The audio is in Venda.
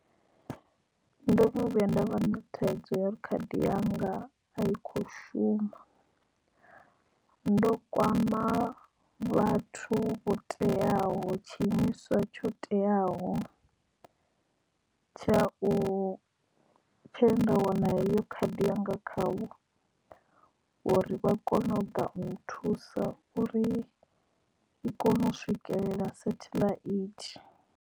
Ndo no vhuya nda vha na thaidzo ya uri khadi yanga a i kho shuma ndo kwama vhathu vho teaho tshi imiswa tsho teaho tsha u tshe nda wana heyo khadi yanga khavho uri vha kone u ḓa u nthusa uri i kone u swikelela satellite.